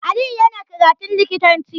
Aliyu yana karatun likitanci